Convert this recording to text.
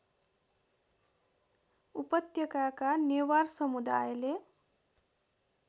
उपत्यकाका नेवार समुदायले